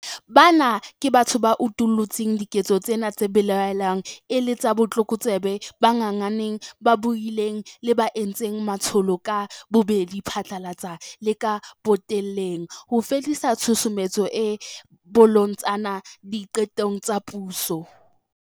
Bana ke batho ba utullutseng diketso tsena tse belaellwang e le tsa botlokotsebe, ba nganngeng, ba buileng le ba entseng matsholo - ka bobedi phatlalatsa le ka potelleng - ho fedisa tshusumetso e bolotsana diqetong tsa puso.